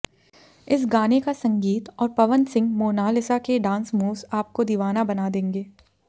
इस गाने का संगीत और पवन सिंह मोनालिसा के डान्स मूव्स आपको दीवाना बना देंगे